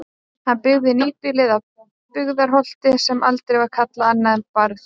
Hann byggði nýbýlið á Byggðarholti sem aldrei var kallað annað en Barð.